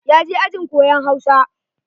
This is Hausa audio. Ya je ajin koyon Hausa.